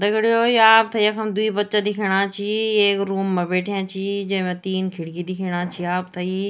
दगडियों ये आपथे यखम द्वि बच्चा दिखेणा छीं एक रूम मा बैठ्या छीं जैमा तीन खिड़कि दिखेणा छी आपथेई।